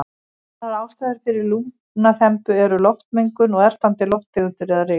Aðrar ástæður fyrir lungnaþembu eru loftmengun og ertandi lofttegundir eða ryk.